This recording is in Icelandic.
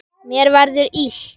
Mér verður illt.